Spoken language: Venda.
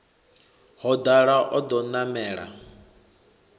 ho dala o ḓo namela